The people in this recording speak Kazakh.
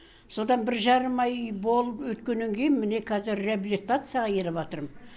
содан бір жарым ай үй болып өткеннен кейін міне қазір реабилитацияға келіп жатырмын